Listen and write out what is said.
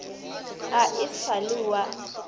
ga e sa le wa